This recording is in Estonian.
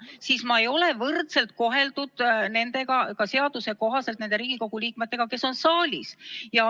Ja sel juhul ma ei ole ka seaduse kohaselt võrdselt koheldud nende Riigikogu liikmetega, kes on saalis.